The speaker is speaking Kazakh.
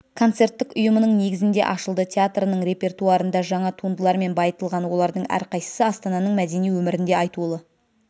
концерттік ұйымының негізінде ашылды театрының репертуарында жаңа туындылармен байытылған олардың әрқайсысы астананың мәдени өмірінде айтулы